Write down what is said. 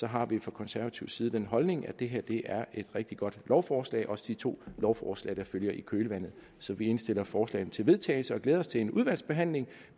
har vi fra konservativ side den holdning at det her er et rigtig godt lovforslag også de to lovforslag der følger i kølvandet så vi indstiller forslagene til vedtagelse og glæder os til en udvalgsbehandling